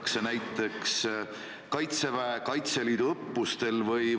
Alati võib küsida, kas see piir ei peaks olema näiteks kaks inimest, sest ka siis on ju nakatumise oht.